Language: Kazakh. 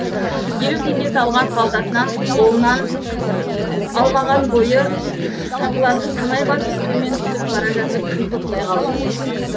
елу теңге салған қалтасынан қолынан алмаған бойы сатыларды санай басып төмен түсіп бара жатып кіл тоқтай қалды